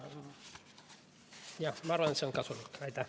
Ma arvan, et see on kasulik.